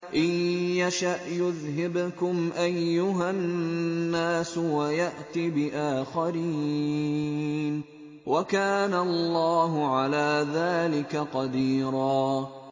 إِن يَشَأْ يُذْهِبْكُمْ أَيُّهَا النَّاسُ وَيَأْتِ بِآخَرِينَ ۚ وَكَانَ اللَّهُ عَلَىٰ ذَٰلِكَ قَدِيرًا